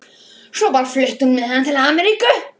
Hún flutti með hann til Ameríku.